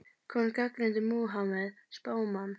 Konan gagnrýndi Múhameð spámann